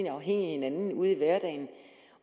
af hinanden ude i hverdagen